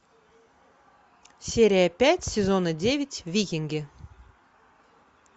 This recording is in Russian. серия пять сезона девять викинги